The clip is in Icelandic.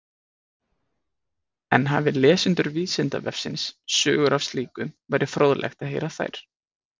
En hafi lesendur Vísindavefsins sögur af slíku væri fróðlegt að heyra þær.